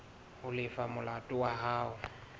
ho lefa molato wa hao